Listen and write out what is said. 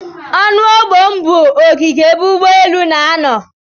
Ọnu ogbom bụ ogige ebe ụgbọ elu n'anọ.